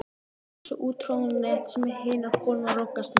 Ekki þessi úttroðnu net sem hinar konurnar rogast með.